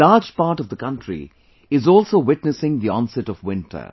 A large part of the country is also witnessing the onset of winter